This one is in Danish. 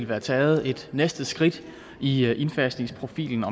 være taget et næste skridt i indfasningsprofilen